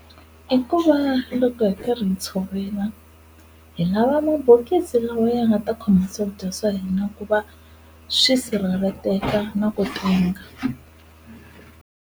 I ku va loko hi karhi hi tshovela hi lava mabokisi lawa ya nga ta khoma swakudya swa hina ku va swi sirheleleteka na ku tenga.